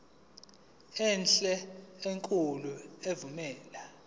enhle enkulu evumela